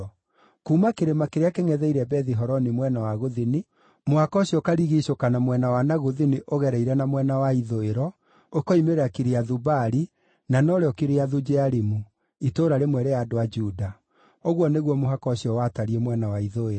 Kuuma kĩrĩma kĩrĩa kĩngʼetheire Bethi-Horoni mwena wa gũthini, mũhaka ũcio ũkarigiicũka na mwena wa na gũthini ũgereire na mwena wa ithũĩro, ũkiumĩrĩra Kiriathu-Baali (na norĩo Kiriathu-Jearimu), itũũra rĩmwe rĩa andũ a Juda. Ũguo nĩguo mũhaka ũcio watariĩ mwena wa ithũĩro.